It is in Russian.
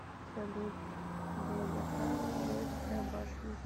салют долгота троицкая башня